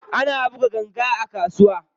Ana buga ganga a kasuwa.